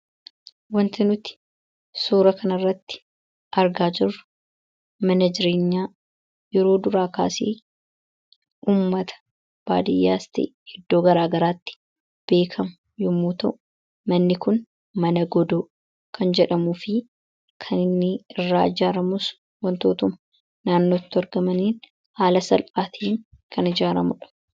Waanti nuti suura kana irratti argaa jirru mana jireenyaa yeroo duraa kaasee uummata baadiyyaas ta'ee iddoo garaa garaatti beekamu yemmuu ta'u manni kun mana godoo kan jedhamuufi kan inni irraa ijaaramus waantotuma naannootti argamaniin haala salphaatiin kan ijaaramudha.